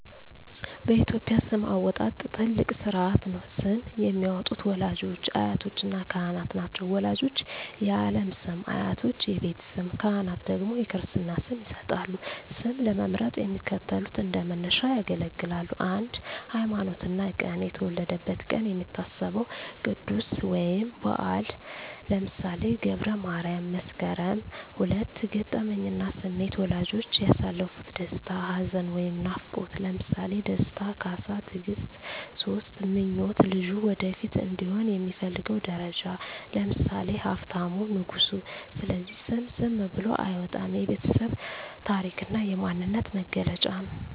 በኢትዮጵያ ስም አወጣጥ ትልቅ ሥርዓት ነው። ስም የሚያወጡት ወላጆች፣ አያቶችና ካህናት ናቸው። ወላጆች የዓለም ስም፣ አያቶች የቤት ስም፣ ካህናት ደግሞ የክርስትና ስም ይሰጣሉ። ስም ለመምረጥ የሚከተሉት እንደ መነሻ ያገለግላሉ 1)ሃይማኖትና ቀን የተወለደበት ቀን የሚታሰበው ቅዱስ ወይም በዓል (ለምሳሌ ገብረ ማርያም፣ መስከረም)። 2)ገጠመኝና ስሜት ወላጆች ያሳለፉት ደስታ፣ ሐዘን ወይም ናፍቆት (ለምሳሌ ደስታ፣ ካሳ፣ ትግስት)። 3)ምኞት ልጁ ወደፊት እንዲሆን የሚፈለገው ደረጃ (ለምሳሌ ሀብታሙ፣ ንጉሱ)። ስለዚህ ስም ዝም ብሎ አይወጣም፤ የቤተሰብ ታሪክና የማንነት መገለጫ ነው።